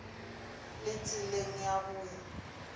le tseleng ya go ya